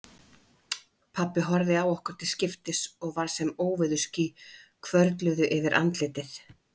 Pabbi horfði á okkur til skiptis og var sem óveðursský hvörfluðu yfir andlitið.